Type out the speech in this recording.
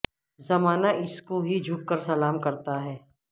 زمانہ اس کو ہی جھک کر سلام کرتا ہے